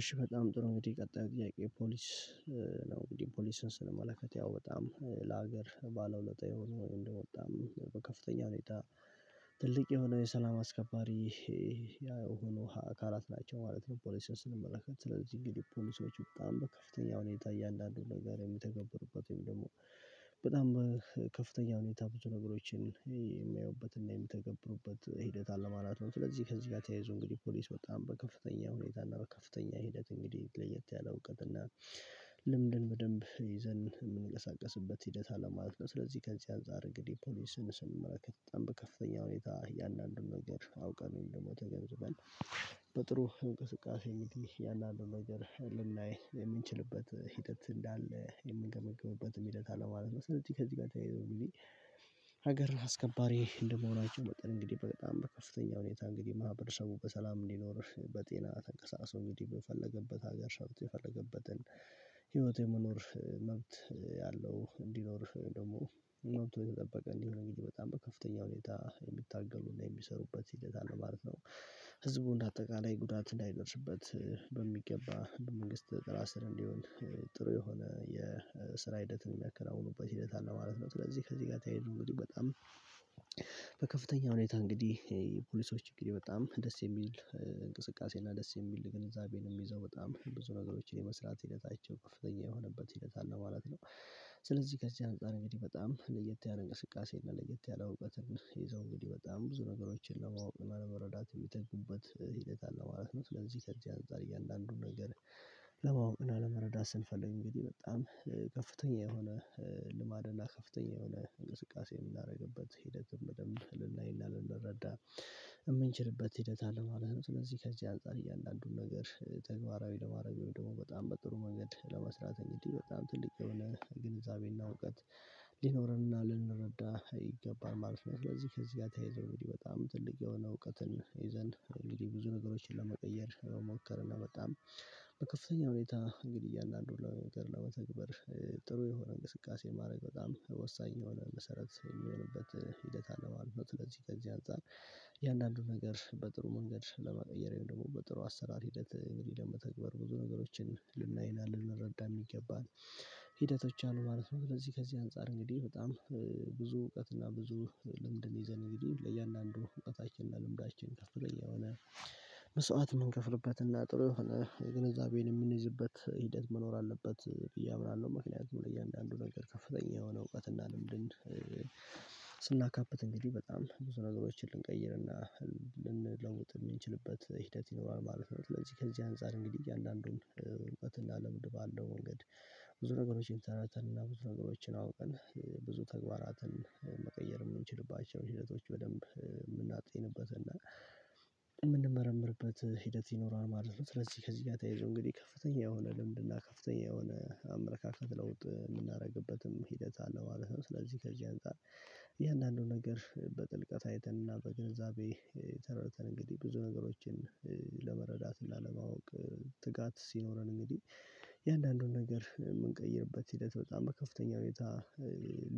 እሺ በጣም ጥሩ እንግዲህ የቀጣዩ ጥያቄ ፖሊስ ነው እንግዲህ ፖሊስን ስንመለከት ያው በጣም ለሀገር ባለውለታ የሆነው እንደው በጣም በከፍተኛ ሁኔታ ትልቅ የሆነ የሰላም አስከባሪ ይሄ ያው ሆኖ አካላት ናቸው ማለት ነው። ፖሊስን ስንመለከት ስለዚህ እንግዲህ ፖሊሶች በጣም በከፍተኛ ሁኔታ እያንዳንዱ ነገር የምተገበሩበት ወይም ደግሞ በጣም ከፍተኛ ሁኔታ ብዙ ነገሮችን የሚያየውበትና የምተገብሩበት ሂደት አለ ማለት ነው። ስለዚህ ከዚህ ጋር ተያይዞ እንግዲህ ፖሊስ በጣም በከፍተኛ ሁኔታ እና በከፍተኛ ሂደት እንግዲህ ለየት ያለ እውቀት እና ልምድን በደንብ ይዘን የምንቀሳቀስበት ሂደት አለ ማለትነው። ስለዚህ ከዚህ አንፃር እግዴ ፖሊስን ስንመረከት በጣም ከፍተኛ ሁኔታ እያንዳንዱን ነገር አውቀን ወይም ደግሞ ተገንዝበን በጥሩ እንቅስቃሴ እንግዲ ያንዳአንድ ነገር ልናይ የምንችልበት ሂደት እንዳለ የምንገመግምበትም ሂደት አለ ማለት ነው። ስለዚህ ከዚህ ጋር ተያይዞ እንግዲ ሀገር አስከባሪ እንደመሆናቸው መጠን እንግዲህ በጣም በከፍተኛ ሁኔታ እንግዲህ ማህበረሰቡ በሰላም እንዲኖር በጤና ተንቀሳቅሶ እንግዲህ በፈለገበት ሀገር ሰርቶ የፈለገበትን ህይወት የመኖር መብት ያለው እንዲኖርህ ደግሞ መብት ተጠበቀ እንዲሆን በጣም በከፍተኛ ሁኔታ የሚታገሉና የሚሰሩበት ሂደት አለ ማለት ነው። እንደ አጠቃላይ ጉዳት እንዳይገርስበት በሚገባ በመንግስት ጥላ ስር እንዲውል ጥሩ የሆነ የስራ ሂደትን የሚያከናውኑበት ሂደት አለ ማለት ነው። ስለዚ ከዚህ ጋር ተያይዘው እንግዲ በጣም በከፍተኛ ሁኔታ እንግዲህ ፖሊሶች እንግዲህ በጣም ደስ የሚል እንቅስቃሴ ደስ የሚል ግንዛቤን የሚይዘው በጣም ብዙ ነገሮችን የመስራት ሂደታቸው ከፍተኛ የሆነበት ሂደት አለ ማለት ነው። ስለዚህ ከዚህ አንፃር እንግዲህ በጣም ለየት ያለ እንቅስቃሴ እና ለየት ያለ እውቀት ይዘው እንግዲህ በጣም ብዙ ነገሮችን ለማወቅ እና ለመረዳት የሚጠቁበት ሂደት አለ ማለት ነው። ስለዚህ ከዚህ አንፃር እያንደአንዱን ነገር ለማወቅ እና ለመረዳት ስንፈልግ እንግዲህ በጣም ከፍተኛ የሆነ ልማድና ከፍተኛ የሆነ እንቅስቃሴ የምናደርግበት ሂደትም በደንብ ልናይ እና ልንረዳ የምንችልበት ሂደት አለ ማለት ነው። ስለዚህ ከዚህ አንፃር እያንዳንዱን ነገር ተግባራዊ ለማድረግ ወይም ደግሞ በጣም በጥሩ መንገድ ለመስራት እንግዲህ በጣም ትልቅ የሆነ ግንዛቤና እውቀት ሊኖረንና ልንረዳ ይገባል ማለት ነው። ስለዚህ ከዚህ ጋር ተያይዞ በጣም ትልቅ የሆነ እውቀትን ይዘን እንግዲህ ብዙ ነገሮችን ለመቀየር ለመሞከር እና በጣም በከፍተኛ ሁኔታ እንግዲህ እያንዳንዱን ነገር ለመተግባር ጥሩ የሆነ እንቅስቃሴ ማድረግ በጣም ወሳኝ የሆነ መሰረት የሚሆንበት ሂደት አለ ማለት ነው። ስለዚህ ከዚህ አንፃር የእያንዳንዱ ነገር በጥሩ መንገድ ለመቀየር ወይም ደግሞ በጥሩ አሰራር ሂደት እንግዲህ ለመተግበር ብዙ ነገሮችን ልናይ እና ልንረዳ የሚገባን ሂደቶች አሉ ማለት ነው። ስለዚህ ከዚህ አንፃር እንግዲህ በጣም ብዙ እውቀትና ብዙ ልምድን ይዘን እንግዲህ ለእያንዳንዱ እውቀታችንና ልምዳችን ከፍቶ የሆነ መስዋዕት የምንከፍርበትና እና ጥሩ የሆነ ግንዛቤን የምንይዝበት ሂደት መኖር አለበት ብዬ አምናለሁ። ምክንያቱም ለእያንዳንዱ ነገር ከፍተኛ የሆነ እውቀትና ለምንድን ስናካብት እንግዲህ በጣም ብዙ ነገሮችን ልንቀይርና ልንለውጥ የምንችልበት ሂደት ይኖራል ማለት ነው። ስለዚህ ከዚህ አንፃር እንግዲህ እያንዳንዱን እውቀት እና ልምድ ባለው ወንገድ ብዙ ነገሮችን ተረድተን እና ብዙ ነገሮችን አውቀን ብዙ ተግባራትን መቀየር የምንችልባቸው ሂደቶች በደንብ የምናጥይንበት እና የምንመረምርበት ሂደት ይኖራል ማለት ነው። ስለዚህ ከዚህ ጋር ተየይዞ እንግዲህ ከፍተኛ የሆነ ልምድና ከፍተኛ የሆነ አመለካከት ለውጥ የምናደርግበትም ሂደት አለው ማለት ነው። ስለዚህ ከዚህ አንፃር እያንዳንአንዱ ነገር በጥልቀት አይተንና በግንዛቤ ተረድተን እንግዲህ ብዙ ነገሮችን ለመረዳትና ለማወቅ ትጋት ሲኖረን እንግዲህ የእያንዳንዱን ነገር የምንቀይርበት ሂደት በጣም በከፍተኛ ሁኔታ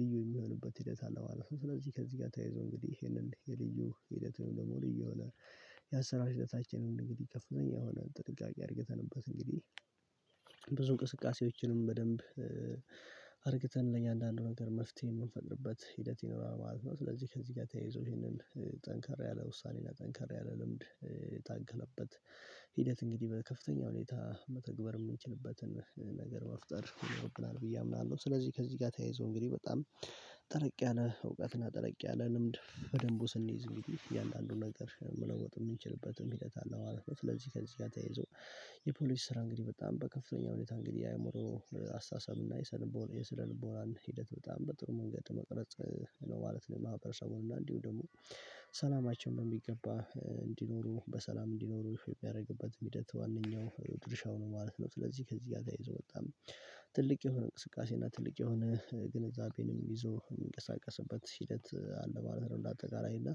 ልዩ የሚሆንበት ሂደት አለ ማለት ነው። ስለዚህ ከዚህ ጋር ተያይዞ እንግዲህ ይሄንን የልዩ ሂደት ወይም ደግሞ ልዩ የሆነ ያሰራር ሂደታችንን እንግዲህ ከፍተኛ የሆነ ጥንቃቄ አድርገንበት እንግዲህ ብዙ እንቅስቃሴዎችንም በደንብ አርግተን ለእየንአንዳንድ ነገር መፍትሄ የምንፈጥርበት ሂደት ይኖራል ማለት ነው። ስለዚህ ከዚህ ጋር ተያይዞ ይሄንን ጠንካራ ያለ ውሳኔና ጠንካራ ያለ ልምድ ታከለበት ሂደት እንግዲህ በከፍተኛ ሁኔታ መተግበር የምንችልበትን ነገር መፍጠር ይኖርብናል ብዬ አምናለሁ። ስለዚህ ከዚህ ጋር ተያይዞ እንግዲህ በጣም ጠለቅ ያለ እውቀትና ጠለቅ ያለ ልምድ በደንቡ ስንይዝ እንግዲህ እያለ አንዱን ነገር መለወጥ የምንችልበትም ሂደት አለ ማለትነው። ስለዚህ ከዚህ ጋር ተያይዞ የፖሊስ ስራ እንግዲህ በጣም በከፍተኛ ሁኔታ እንግዲህ አእምሮ አስተሳሰብ እና የስነልቦናን ሂደት በጣም በጥሩ መንገድ መቅረጽ ነው ማለት ነው። ማህበረሰቡን እና እንዲሁ ደግሞ ሰላማችን በሚገባ እንዲኖሩ በሰላም እንዲኖሩ የሚያደርግበትም ሂደት ዋነኛው ድርሻው ነው ማለት ነው። ስለዚህ ከዚህ ጋር ተያይዞ በጣም ትልቅ የሆነ እንቅስቃሴ እና ትልቅ የሆነ ግንዛቤንም ይዞ የሚንቀሳቀስበት ሂደት አለ ማለት ነው። እንደ አጠቃላይ እና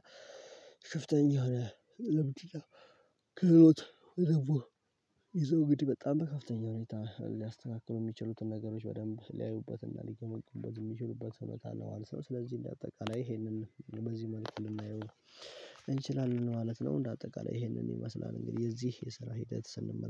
ክፍተኛ የሆነ ልምድ እና ክህሎት ይዘው እንግዲ በጣም በከፍተኛ ሁኔታ ሊያስተካክሉ የሚችሉትን ነገሮች በደንብ ሊያዩበትና ሊገመጉምበት የሚችሉበት ሁነት አለ ማለትነው። ስለዚህ እንደ አጠቃላይ ይሄንን በዚህ ማለት ልናየው እንችላለን ማለት ነው። እንደ አጠቃላይ ይሄንን ይመስላል እንግዲህ የዚህ የስራ ሂደት ስንመለከት